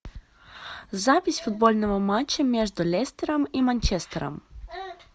запись футбольного матча между лестером и манчестером